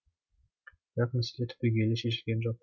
бірақ мәселе түбегейлі шешілген жоқ